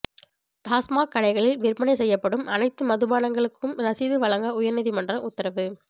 டாஸ்மாக் கடைகளில் விற்பனை செய்யப்படும் அனைத்து மதுபானங்களுக்கும் ரசீது வழங்க உயா்நீதிமன்றம் உத்தரவு